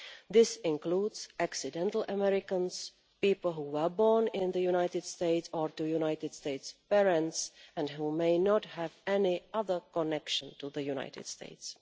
This includes accidental Americans' people who were born in the United States or to United States parents and who may not have any other connection to the United States.